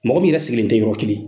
Mɔgɔ min yɛrɛ sigilen tɛ yɔrɔ kelen.